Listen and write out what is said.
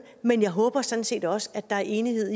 men jeg håber sådan set også at der er enighed